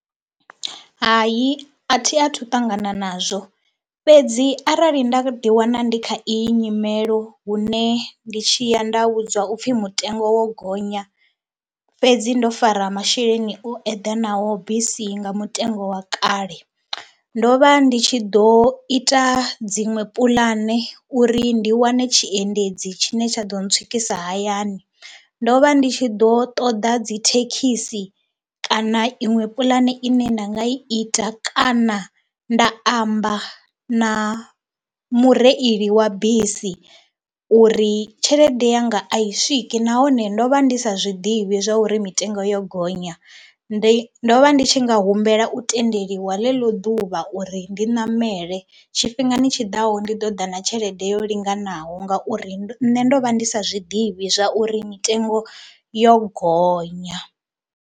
Hai a thi a thu ṱangana nazwo fhedzi arali nda ḓiwana ndi kha iyi nyimelo hune ndi tshi ya nda vhudzwa u pfhi mutengo wo gonya fhedzi ndo fara masheleni o eḓanaho bisi nga mutengo wa kale. Ndo vha ndi tshi ḓo ita dziṅwe puḽane uri ndi wane tshiendedzi tshine tsha ḓo ntswikisa hayani. Ndo vha ndi tshi ḓo ṱoḓa dzi thekhisi kana iṅwe puḽane ine nda nga i ita kana nda amba na mureili wa bisi uri tshelede yanga a i swiki nahone ndo vha ndi sa zwi ḓivhi zwa uri mitengo yo gonya. Ndi ndo vha ndi tshi nga humbela u tendeliwa ḽeḽo ḓuvha uri ndi ṋamele, tshifhingani tshi ḓaho ndi ḓo ḓa na tshelede yo linganaho ngauri nṋe ndo vha ndi sa zwi ḓivhi zwa uri mitengo yo gonya.